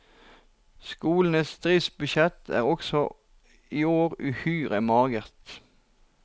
Skolens driftsbudsjett er også i år uhyre magert.